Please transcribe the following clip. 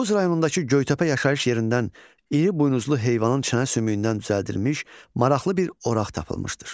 Tovuz rayonundakı Göytəpə yaşayış yerindən iri buynuzlu heyvanın çənə sümüyündən düzəldilmiş maraqlı bir oraq tapılmışdır.